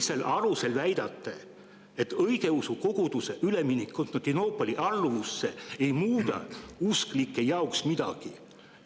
Mille alusel te väidate, et õigeusu koguduse üleminek Konstantinoopoli alluvusse ei muuda usklike jaoks midagi?